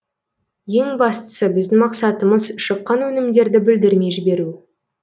ең бастысы біздің мақсатымыз шыққан өнімдерді бүлдірмей жіберу